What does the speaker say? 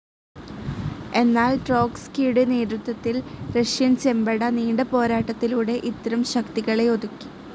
എന്നാൽ ട്രോട്സ്കിയുടെ നേതൃത്വത്തിൽ റഷ്യൻ ചെമ്പട നീണ്ട പോരാട്ടത്തിലൂടെ ഇത്തരം ശക്തികളെ ഒതുക്കി.